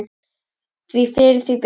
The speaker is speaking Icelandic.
Því fyrr því betra.